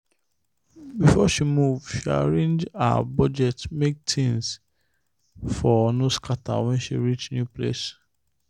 before she move she arrange her budget make things for no scatter when she reach new place.